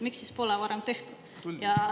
Miks seda pole siis varem tehtud?